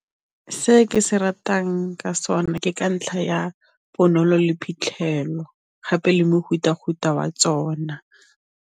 Se ke se ratang ka sona ke ka ntlha ya bonolo le phitlhelelo gape le mofuta-futa wa tsona.